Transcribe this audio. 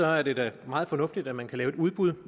er det da meget fornuftigt at man kan lave et udbud